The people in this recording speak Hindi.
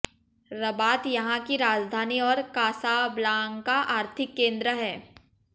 रबात यहाँ की राजधानी और कासाब्लांका आर्थिक केन्द्र है